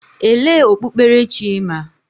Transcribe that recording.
Elee okpukperechi ị ma?